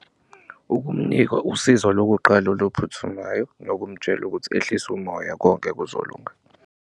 Ukumnika usizo lokuqala oluphuthumayo nokumtshela ukuthi ehlise umoya konke kuzolunga.